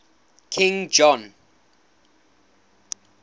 king john